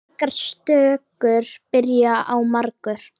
Margar stökur byrja á margur.